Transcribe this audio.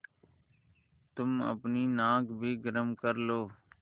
तुम अपनी नाक भी गरम कर लो